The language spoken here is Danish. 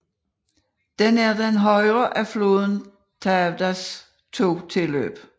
Den er den højre af floden Tavdas to tilløb